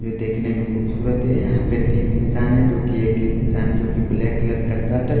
जो देखने में खूबसूरत है यहां पे तीन इंसान है जो कि एक इंसान जो कि ब्लैक कलर का शर्ट --